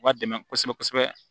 U b'a dɛmɛ kosɛbɛ kosɛbɛ